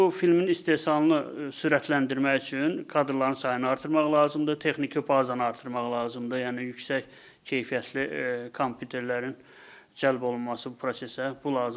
Bu filmin istehsalını sürətləndirmək üçün kadrların sayını artırmaq lazımdır, texniki bazanı artırmaq lazımdır, yəni yüksək keyfiyyətli kompüterlərin cəlb olunması bu prosesə bu lazımdır.